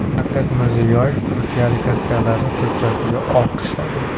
Shavkat Mirziyoyev turkiyalik askarlarni turkchasiga olqishladi .